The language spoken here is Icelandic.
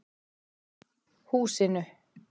Húsinu